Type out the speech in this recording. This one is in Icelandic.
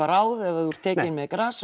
ráð ef þú ert tekinn með gras